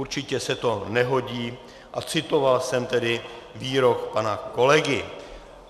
Určitě se to nehodí a citoval jsem tedy výrok pana kolegy.